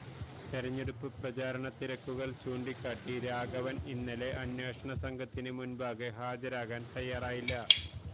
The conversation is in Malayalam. തെരഞ്ഞെടുപ്പ് പ്രചാരണ തിരക്കുകള് ചൂണ്ടിക്കാട്ടി രാഘവന് ഇന്നലെ അന്വേഷണ സംഘത്തിന് മുന്പാകെ ഹാജരാകാന് തയ്യാറായില്ല